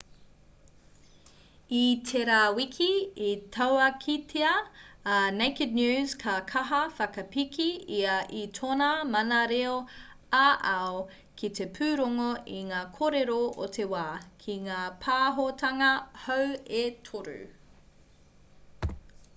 i tērā wiki i tauākītia e naked news ka kaha whakapiki ia i tōna mana reo ā-ao ki te pūrongo i ngā kōrero o te wā ki ngā pāhotanga hou e toru